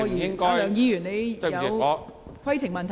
梁議員，你是否有規程問題？